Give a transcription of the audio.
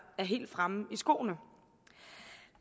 er helt fremme i skoene